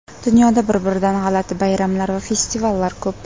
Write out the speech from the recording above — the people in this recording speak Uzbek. Dunyoda bir-biridan g‘alati bayramlar va festivallar ko‘p.